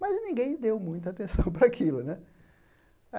Mas ninguém deu muita atenção para aquilo, né?